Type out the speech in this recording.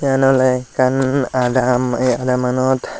iyan ole ekkan adam eh adam anot.